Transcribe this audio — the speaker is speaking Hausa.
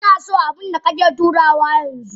Inaso abunda kake turawa yanzu.